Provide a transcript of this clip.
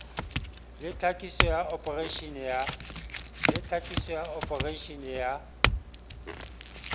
le tlhakiso ya opareitara ya